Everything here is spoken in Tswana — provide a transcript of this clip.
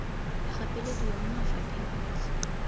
a gapelediwa mo mafapheng otlhe